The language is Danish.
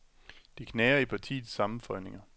Det knager i partiets sammenføjninger.